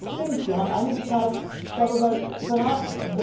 Es stimmt, wir haben einige Zeit darüber beraten.